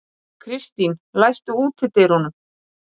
Kristín, læstu útidyrunum.